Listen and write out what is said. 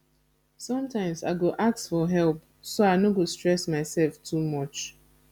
sometimes i go ask for help so i no go stress myself too much